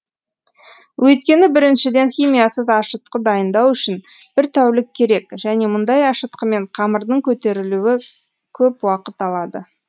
өйткені біріншіден химиясыз ашытқы дайындау үшін бір тәулік керек және мұндай ашытқымен қамырдың көтерілуі көп уақыт алады